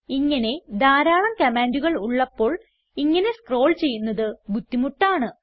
ഇങ്ങനെ ധാരാളം കമാൻഡുകൾ ഉള്ളപ്പോൾ ഇങ്ങനെ സ്ക്രോൾ ചെയ്യുന്നത് ബുദ്ധിമുട്ടാണ്